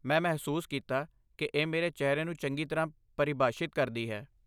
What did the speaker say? ਮੈਂ ਮਹਿਸੂਸ ਕੀਤਾ ਕਿ ਇਹ ਮੇਰੇ ਚਿਹਰੇ ਨੂੰ ਚੰਗੀ ਤਰ੍ਹਾਂ ਪਰਿਭਾਸ਼ਿਤ ਕਰਦੀ ਹੈ।